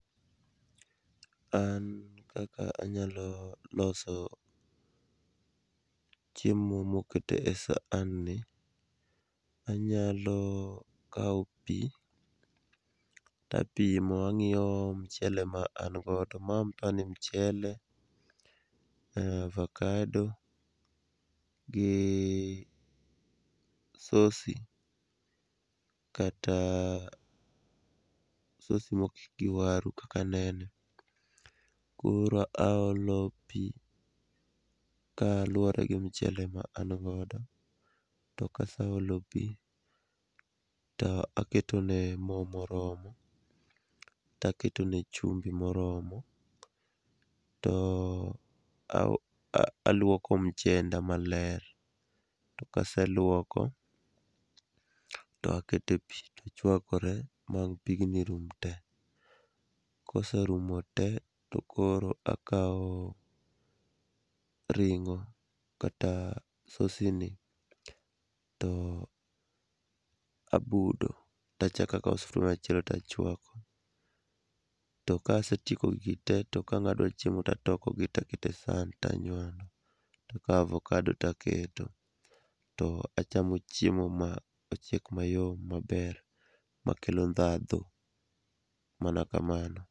An kaka anylo loso chiemo moket e san ni, anyalo kawo pi apimo, ang'iyo mchele ma an godo ma pani mchele, avakado gi sosi, kata sosi mokik gi waru kaka anene. koro aolo pi kaluwore gi mchele ma an good, to kaseolo pi, to aketone mo moromo, taketone chumbi moromo, to alwoko mchenda maler, to kaselwoko, to aketo e pi to chwakore ma pigni rum te. Koserumo te, to koro akawo ring'o, kata sosini, to abudo, tachako sufria machielo tachwako, to kasetieko gigi te, to ka ang' adwa chiemo tatokogi taketo e san tanywando, takawo avakado taketo to achamo chiemo ma ochiek mayom, maber, makelo ndhadhu, mana kamano.